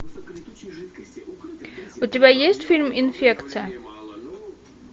у тебя есть фильм инфекция